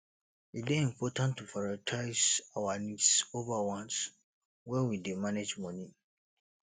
e dey important to prioritize our needs over wants when we dey manage money